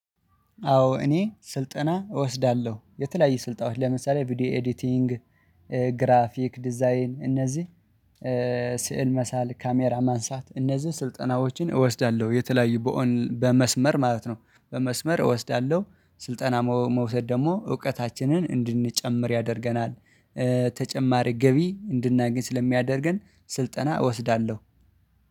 አዎ እኔ ስልጠና እወስዳለሁ የተለያየ ስልጣኖች ለምሳሌ ቪዲዮ ኤዲቲንግ ግራፊክ ዲዛይን እነዚህ ስዕል መሳል ካሜራ ማንሳት እነዚህን ስልጠናዎችን እወስዳለሁ። የተለያዩ በኦን በመስመር ማለት ነው። በመስመር እወስዳለሁ። ስልጠና መውሰድ ደግሞ እውቀታችንን እንድንጨምር ያደርገናል። ተጨማሪ ገቢ እንድናገኝ ስለሚያደርገን ስልጠና እወስዳለሁ።